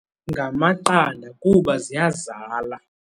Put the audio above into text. Ngamaqanda kuba ziyazala.